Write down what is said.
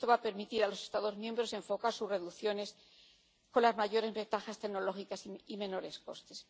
Esto va a permitir a los Estados miembros enfocar sus reducciones con las mayores ventajas tecnológicas y menores costes.